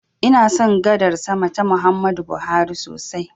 Ina son gadar sama ta Muhammadu Buhari sosai.